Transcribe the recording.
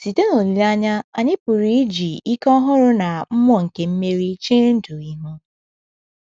“ Site n’olileanya, anyị pụrụ iji ike ọhụrụ na mmụọ nke mmeri chee ndụ ihu. ”